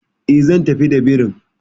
E, zan tafi da birin.